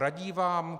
Radí vám?